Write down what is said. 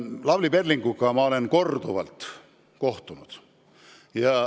Lavly Perlinguga olen ma korduvalt kohtunud.